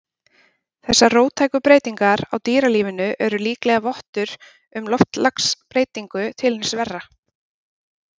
Þessar róttæku breytingar á dýralífinu eru líklega vottur um loftslagsbreytingu til hins verra.